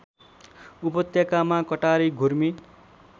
उपत्यकामा कटारी घुर्मी